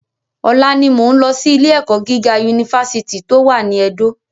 Ọ̀la ni mo ń lọ sí ilé ẹ̀kọ́ gíga Unifásítì tó wà ní Ẹdó